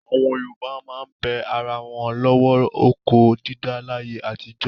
Àwọn Yorùbá máa ń bẹ ara wọn lọ́wẹ̀ oko dídá láyé àtijọ́.